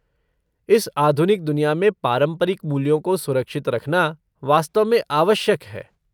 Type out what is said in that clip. इस आधुनिक दुनिया में पारंपरिक मूल्यों को सुरक्षित रखना वास्तव में आवश्यक है।